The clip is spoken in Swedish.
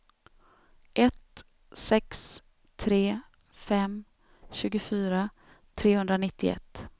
ett sex tre fem tjugofyra trehundranittioett